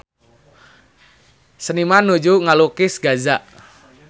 Seniman nuju ngalukis Gaza